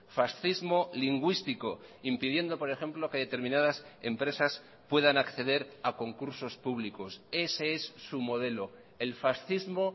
fascismo lingüístico impidiendo por ejemplo que determinadas empresas puedan acceder a concursos públicos ese es su modelo el fascismo